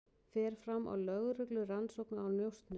Fer fram á lögreglurannsókn á njósnum